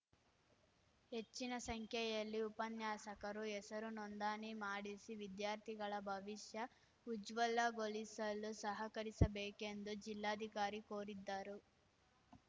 ಹೆಚ್ಚಿನ ಸಂಖ್ಯೆಯಲ್ಲಿ ಉಪನ್ಯಾಸಕರು ಹೆಸರು ನೋಂದಾಣಿ ಮಾಡಿಸಿ ವಿದ್ಯಾರ್ಥಿಗಳ ಭವಿಷ್ಯ ಉಜ್ವಲಗೊಳಿಸಲು ಸಹಕರಿಸಬೇಕೆಂದು ಜಿಲ್ಲಾಧಿಕಾರಿ ಕೋರಿದ್ದಾರು